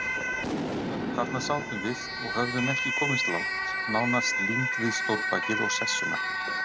Þarna sátum við og höfðum ekki komist langt, nánast límd við stólbakið og sessuna.